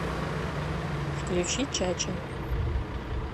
включи чача